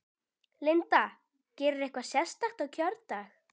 Linda: Gerirðu eitthvað sérstakt á kjördag?